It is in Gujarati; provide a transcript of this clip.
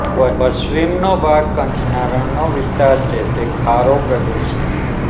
પશ્ચિમનો ભાગ કચ્છના રણનો વિસ્તાર છે તે ખારો પ્રદેશ છે